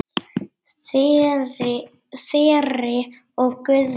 Þyri og Guðni.